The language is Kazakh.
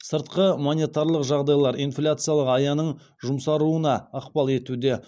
сыртқы монетарлық жағдайлар инфляциялық аяның жұмсаруына ықпал етуде